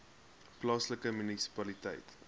plaaslike munisipaliteit